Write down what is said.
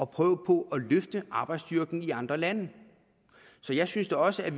prøve på at løfte arbejdsstyrken i andre lande så jeg synes da også at